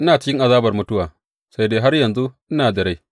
Ina cikin azabar mutuwa, sai dai har yanzu ina da rai.’